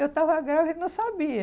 Eu estava grávida e não sabia.